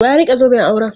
Wa ya rike zoben auren?